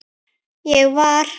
Ég var